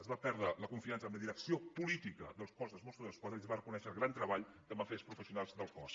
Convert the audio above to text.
es va perdre la confiança en la direcció política del cos dels mossos d’esquadra i es va reconèixer el gran treball que van fer els professionals del cos